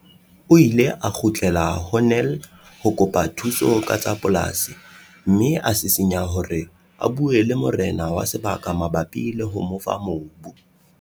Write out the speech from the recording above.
O ile a kgutlela ho Nel ho kopa thuso ka tsa polasi mme a sisinya hore a bue le morena wa sebaka mabapi le ho mo fa mobu.